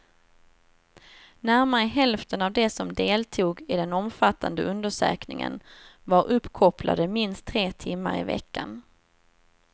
Närmare hälften av de som deltog i den omfattande undersökningen var uppkopplade minst tre timmar i veckan.